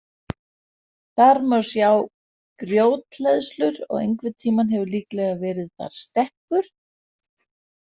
Þar má sjá grjóthleðslur og einhvern tímann hefur líklega verið þar stekkur.